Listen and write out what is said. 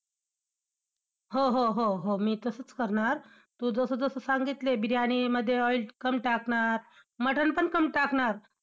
हो हो हो हो मी तसंच करणार, तू जसं जसं सांगितलंय, बिर्याणी मध्ये oil कम टाकणार, मटण पण कम टाकणार.